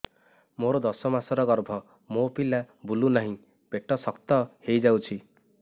ମୋର ଦଶ ମାସର ଗର୍ଭ ମୋ ପିଲା ବୁଲୁ ନାହିଁ ପେଟ ଶକ୍ତ ହେଇଯାଉଛି